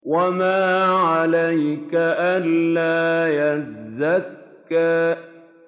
وَمَا عَلَيْكَ أَلَّا يَزَّكَّىٰ